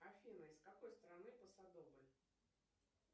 афина из какой страны посадобль